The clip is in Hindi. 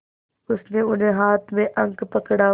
उसने उन्हें हाथों में अंक पकड़ाए